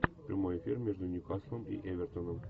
прямой эфир между ньюкаслом и эвертоном